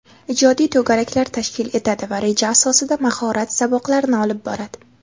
ijodiy to‘garaklar tashkil etadi va reja asosida mahorat saboqlarini olib boradi;.